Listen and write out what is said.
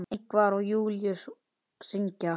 Ingvar og Júlíus syngja.